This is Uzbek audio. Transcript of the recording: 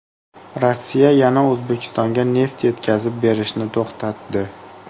Rossiya yana O‘zbekistonga neft yetkazib berishni to‘xtatdi.